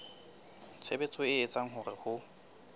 tshebetso e etsang hore ho